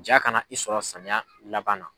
Ja kana i sɔrɔ samiya laban na.